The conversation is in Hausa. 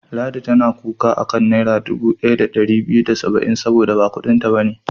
Ladi tana kuka a kan Naira dubu ɗaya da ɗari biyu da saba'in saboda ba kuɗinta ba ne.